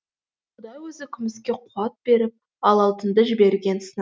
құдай өзі күміске қуат беріп ал алтынды жіберген сынақ үшін